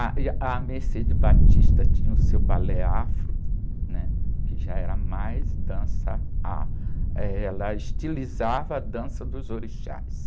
Ah, e a Mercedes Batista tinha o seu balé afro, né? Que já era mais dança afro, ela estilizava a dança dos orixás.